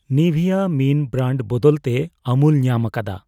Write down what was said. ᱱᱤᱵᱷᱤᱭᱟ ᱢᱤᱱ ᱵᱨᱟᱱᱰ ᱵᱚᱫᱚᱞ ᱛᱮ ᱟᱢᱩᱞ ᱧᱟᱢ ᱟᱠᱟᱫᱟ ᱾